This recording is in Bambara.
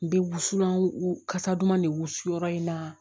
N bɛ wusulanw kasa duman de wusu yɔrɔ in na